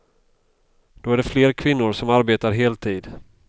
Då är det fler kvinnor som arbetar heltid.